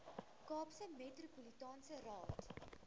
kaapse metropolitaanse raad